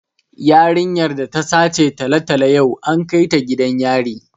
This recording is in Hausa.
Yarinyar da ta sace talatalo yau an kai ta gidan yari